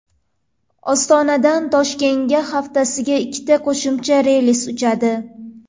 Ostonadan Toshkentga haftasiga ikkita qo‘shimcha reys uchadi.